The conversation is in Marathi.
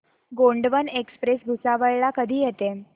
गोंडवन एक्सप्रेस भुसावळ ला कधी येते